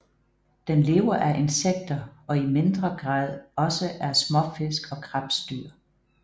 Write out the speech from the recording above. Den lever af insekter og i mindre grad også af småfisk og krebsdyr